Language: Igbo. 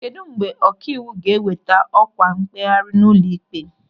Kedụ mgbe ọkaiwu ga-eweta ọkwa mkpegharị n'ụlọịkpe?